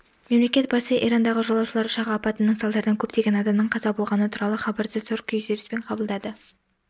мемлекет басшысы ирандағы жолаушылар ұшағы апатының салдарынан көптеген адамның қаза болғаны туралы хабарды зор күйзеліспен қабылдады